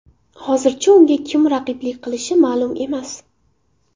Hozircha unga kim raqiblik qilishi ma’lum emas.